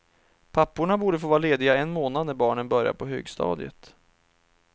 Papporna borde få vara lediga en månad när barnen börjar på högstadiet.